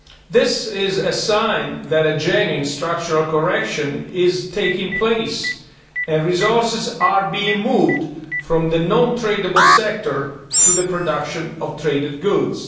This is a sign that a genuine structural correction is taking place and resources are being moved from the non tradable sector to the production of traded goods.